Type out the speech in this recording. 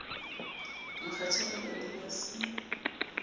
mokgatjhane ba ne ba se